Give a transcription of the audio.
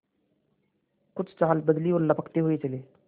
कुछ चाल बदली और लपकते हुए चले